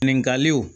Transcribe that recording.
Ɲininkaliw